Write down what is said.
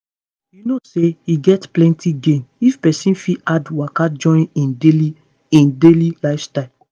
you know say e get plenty gain if person fit add waka join him daily him daily lifestyle.